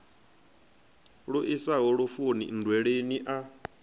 lu isaho lufuni nndweleni a